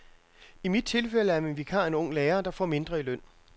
I mit tilfælde er min vikar en ung lærer, der får mindre i løn.